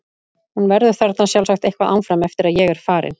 Hún verður þarna sjálfsagt eitthvað áfram eftir að ég er farinn.